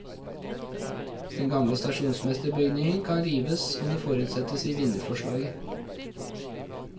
Den gamle stasjonsmesterbygningen kan rives om det forutsettes i vinnerforslaget.